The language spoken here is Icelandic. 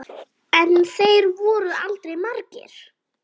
En þeir voru aldrei margir.